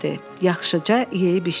Yaxşıca yeyib içdi.